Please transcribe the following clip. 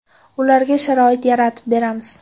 Ularga sharoit yaratib beramiz.